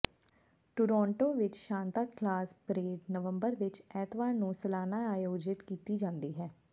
Toronto ਵਿਚ Santa Claus parade November ਵਿਚ ਐਤਵਾਰ ਨੂੰ ਸਾਲਾਨਾ ਆਯੋਜਿਤ ਕੀਤੀ ਜਾਂਦੀ ਹੈ